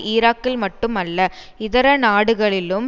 ஈராக்கில் மட்டுமல்ல இதர நாடுகளிலும்